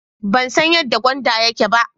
Ban so yan da gwandan yake ba.